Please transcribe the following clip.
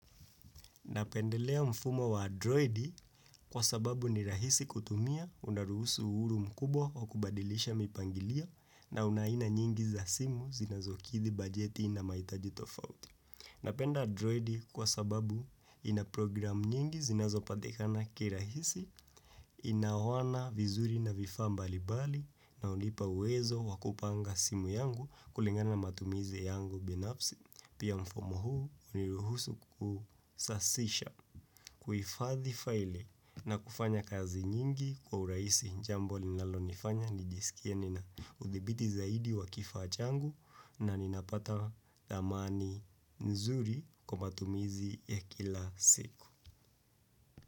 Napendelea mfumo wa androidi kwa sababu ni rahisi kutumia unaruhusu uhuru mkubwa wa kubadilisha mipangilio na una aina nyingi za simu zinazokithi bajeti na mahitaji tofauti. Napenda androidi kwa sababu inaprogram nyingi zinazopatikana kirahisi inaona vizuri na vifaa mbalibali na hunipa uwezo wa kupanga simu yangu kulingana matumizi yangu binafsi pia mfumo huu uniruhusu kusasisha. Kuifadhi faili na kufanya kazi nyingi kwa uraisi jambo linalo nifanya nijisikie ninaudhibiti zaidi wa kifaa changu na ninapata dhamani nzuri kwa matumizi ya kila siku.